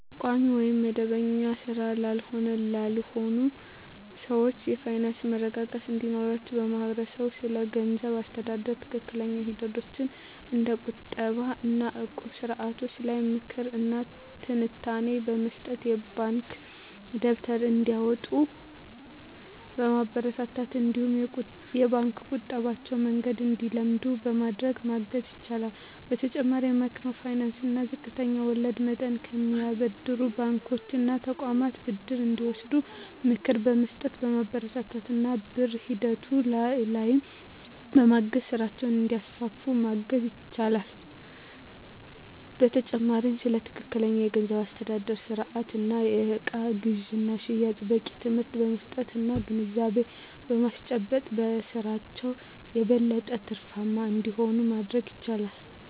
ቋሚ ወይም መደበኛ ሥራ ላይ ላልሆኑ ሰዎች የፋይናንስ መረጋጋት እንዲኖራቸው ማህበረሰቡ ስለገንዘብ አስተዳደር ትክክለኛ ሂደቶች እንደ ቁጠባ እና እቁብ ስርዓቶች ላይ ምክር እና ትንታኔ በመስጠት፣ የባንክ ደብተር እንዲያወጡ በማበረታታት እነዲሁም የባንክ የቁጠባ መንገድን እንዲለምዱ በማድረግ ማገዝ ይችላል። በተጨማሪም ከማይክሮ ፋይናንስ እና ዝቅተኛ ወለድ መጠን ከሚያበድሩ ባንኮች እና ተቋማት ብድር እንዲወስዱ ምክር በመስጠት፣ በማበረታታት እና ብድር ሂደቱ ላይም በማገዝ ስራቸውን እንዲያስፋፉ ማገዝ ይቻላል። በተጨማሪም ስለ ትክክለኛ የገንዘብ አስተዳደር ስርአት እና የእቃ ግዥና ሽያጭ በቂ ትምህርት በመስጠት እና ግንዛቤ በማስጨበጥ በስራቸው የበለጠ ትርፋማ እንዲሆኑ ማድረግ ይቻላል።